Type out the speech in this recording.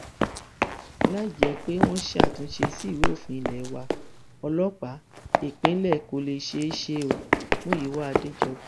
láì jẹ pé wọn ṣàtúnṣe sí ìwé òfin ilé wa ọlọpàá ìpínlẹ kó lè ṣeé ṣe omúyíwá adéjọbí